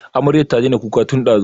Amaryar ta daina kuka tin ɗazu